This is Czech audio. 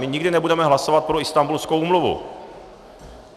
My nikdy nebudeme hlasovat pro Istanbulskou úmluvu.